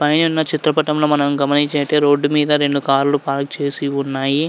పైనున్న చిత్రపటంలో మనం గమనించైతే రోడ్డు మీద రెండు కార్లు పార్క చేసి ఉన్నాయి.